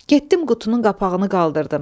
Getdim qutunun qapağını qaldırdım.